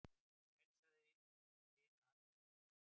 Hann heilsaði linu handtaki.